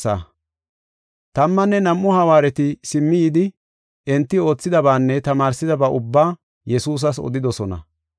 Tammanne nam7u hawaareti simmi yidi enti oothidabaanne tamaarsidaba ubbaa Yesuusas odidosona.